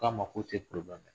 K'a ma k'o tɛ